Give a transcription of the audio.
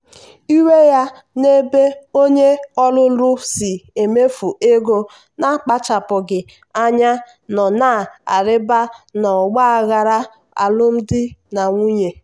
iwe ya n’ebe onye ọlụlụ si emefu ego na-akpachapụghị anya nọ na-arịba n’ọgba aghara alụmdi na nwunye.